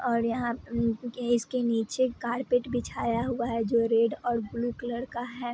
और यहाँ इसके नीचे कारपेट बिछाया हुआ है जो रेड और ब्लू कलर का है।